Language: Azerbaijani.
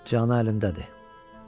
Can əlimdədir.